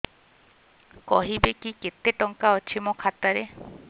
କହିବେକି କେତେ ଟଙ୍କା ଅଛି ମୋ ଖାତା ରେ